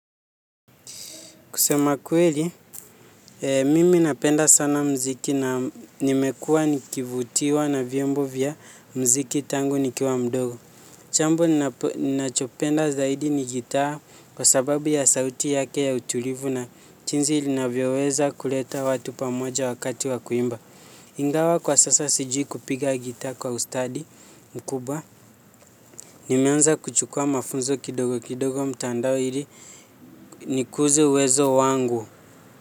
Kusema kweli, mimi napenda sana muziki na nimekuwa nikivutiwa na vyombo vya muziki tangu nikiwa mdogo. Jambo, ninachopenda zaidi ni gitaa kwa sababu ya sauti yake ya utulivu na jinsi inavyoweza kuleta watu pamoja wakati wa kuimba. Ingawa kwa sasa sijui kupiga gitaa kwa ustadi mkubwa. Nimeanza kuchukua mafunzo kidogo kidogo mtandaoni ili nikuze uwezo wangu.